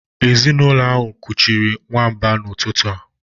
Ezinụlọ ahụ kuchiri nwamba n'ụtụtụ a